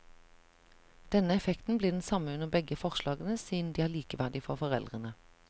Denne effekten blir den samme under begge forslagene, siden de er likeverdige for foreldrene.